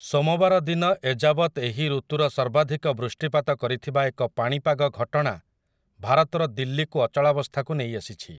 ସୋମବାର ଦିନ ଏଯାବତ୍ ଏହି ଋତୁର ସର୍ବାଧିକ ବୃଷ୍ଟିପାତ କରିଥିବା ଏକ ପାଣିପାଗ ଘଟଣା ଭାରତର ଦିଲ୍ଲୀକୁ ଅଚଳାବସ୍ଥାକୁ ନେଇ ଆସିଛି ।